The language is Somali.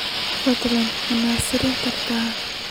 Fadlan ma nasan kartaa?